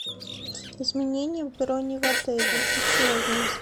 изменение брони в отеле условия